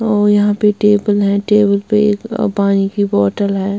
और यहां पे टेबल है टेबल पे एक पानी की बॉटल है।